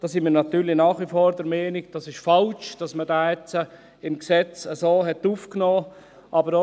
Da sind wir natürlich nach wie vor der Meinung, es sei falsch, dass man diesen jetzt so im Gesetz aufgenommen hat.